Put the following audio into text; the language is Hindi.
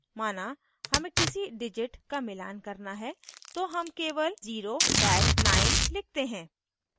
माना हमें किसी digit का मिलान करना है तो हम केवल 09 लिखते हैं